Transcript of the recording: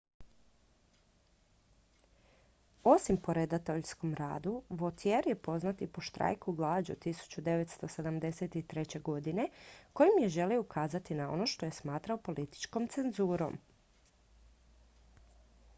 osim po redateljskom radu vautier je poznat i po štrajku glađu 1973. godine kojim je želio ukazati na ono što je smatrao političkom cenzurom